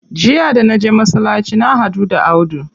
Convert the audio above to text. Jiya da naje masallaci na haɗu da Audu.